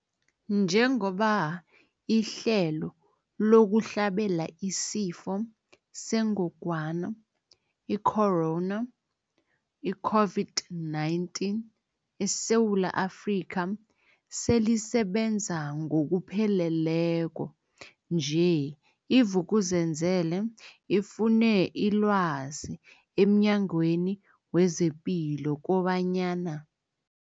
Njengoba ihlelo lokuhlabela isiFo sengogwana i-Corona, i-COVID-19, eSewula Afrika selisebenza ngokupheleleko nje, i-Vuk'uzenzele ifune ilwazi emNyangweni wezePilo kobanyana.